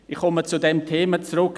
Ich komme zum Thema zurück.